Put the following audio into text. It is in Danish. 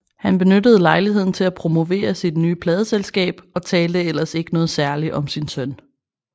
Han benyttede lejligheden til at promovere sit nye pladeselskab og talte ellers ikke noget særligt om sin søn